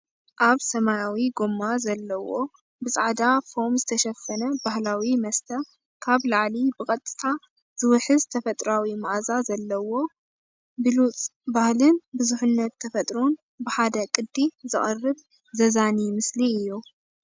ኣብ ሰማያዊ ጎማ ዘለዎ ብጻዕዳ ፎም ዝተሸፈነ ባህላዊ መስተ፡ ካብ ላዕሊ ብቐጥታ ዝውሕዝ ተፈጥሮኣዊ መኣዛ ዘለዎ። ብሉጽ ባህልን ብዙሕነት ተፈጥሮን ብሓደ ቅዲ ዘቕርብ ዘዛንይ ምስሊ እዩ።